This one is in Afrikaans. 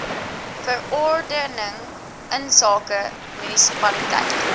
verordening insake munisipaliteit